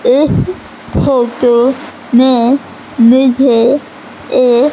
इस फोटो में मुझे एक--